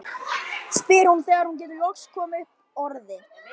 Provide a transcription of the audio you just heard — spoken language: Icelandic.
spyr hún þegar hún getur loks komið upp orði.